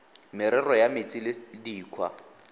merero ya metsi le dikgwa